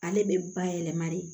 Ale bɛ bayɛlɛma de